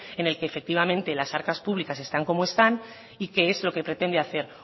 en el que efectivamente las arcas públicas están como están y qué es lo que pretende hacer